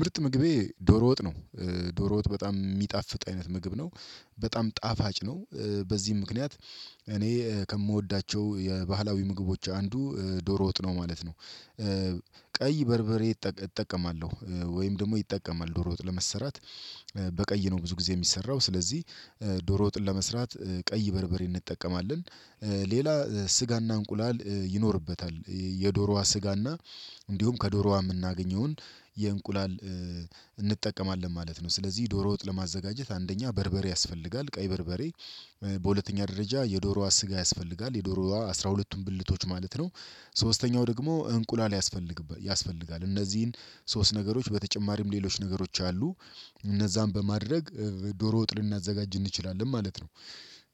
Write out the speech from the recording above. ምርጥ ምግቤ ዶሮ ወጥ ነው። ዶሮ ወጥ በጣም የሚጣፍጥ አይነት ምግብ ነው። በጣም ጣፋጭ ነው። በዚህም ምክንያት እኔ ከምወዳቸው የባህላዊ ምግቦች አንዱ ዶሮ ወጥ ነው ማለት ነው። ቀይ በርበሬ እጠቀማለሁ ወይም ደግሞ ይጠቀማል ዶሮ ወጥ ለመሰራት በቀይ ነው ብዙ ጊዜ የሚሰራው። ስለዚህ ዶሮ ወጥን ለመስራት ቀይ በርበሬ እንጠቀማለን። ሌላ ስጋና እንቁላል ይኖርበታል የዶሮዋ ስጋና እንዲሁም ከዶሮዋ የምናገኘውን የእንቁላል እንጠቀማለን ማለት ነው። ስለዚህ ዶሮ ወጥ ለማዘጋጀት አንደኛ በርበሬ ያስፈልጋል ቀይ በርበሬ። በሁለተኛ ደረጃ የዶሮዋ ስጋ ያስፈልጋል የዶሮዋ አስራ ሁለቱም ብልቶች ማለት ነው። ሶስተኛው ደግሞ እንቁላል ያስፈልጋል። እነዚህን ሶስት ነገሮች በተጨማሪም ሌሎች ነገሮች አሉ። እነዛን በማድረግ ዶሮ ወጥ ልናዘጋጅ እንችላለን ማለት ነው።